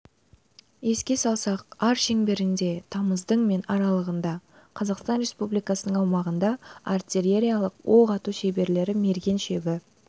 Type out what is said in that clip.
еске салсақ ар шеңберінде тамыздың мен аралығында қазақстан республикасының аумағында артиллериялық оқ ату шеберлері мерген шебі